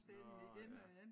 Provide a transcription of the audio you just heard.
Nå ja